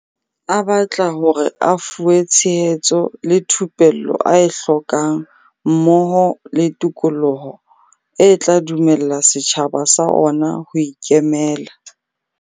A batla hore a fuwe tshe hetso le thupello a e hlokang mmoho le tikoloho e tla dumella setjhaba sa ona ho ikemela.